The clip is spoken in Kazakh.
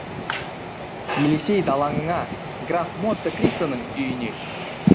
елисей далаңына граф монте кристоның үйіне